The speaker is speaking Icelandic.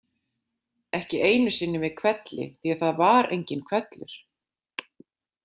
Ekki einu sinni með hvelli því að það var enginn hvellur.